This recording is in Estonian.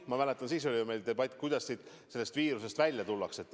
Ma mäletan, siis oli meil debatt, kuidas sellest viirusest välja tullakse.